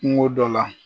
Kungo dɔ la